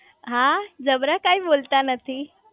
હા જબરા કાઈ બોલતા નથી